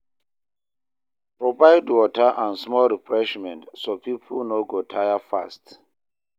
Provide water and small refreshment so people no go tire fast.